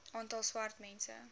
aantal swart mense